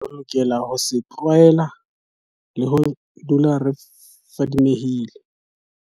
Re lokela ho se tlwaela le ho dula re fadimehile.